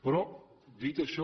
però dit això